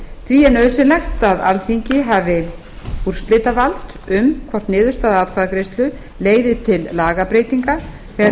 því er nauðsynlegt að alþingi hafi úrslitavald um hvort niðurstaða atkvæðagreiðslu leiði til lagabreytinga þegar